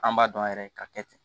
An b'a dɔn yɛrɛ ka kɛ ten